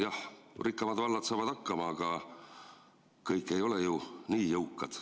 Jah, rikkamad vallad saavad hakkama, aga kõik ei ole ju nii jõukad.